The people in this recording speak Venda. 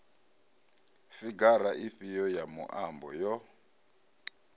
figara ifhio ya muambo yo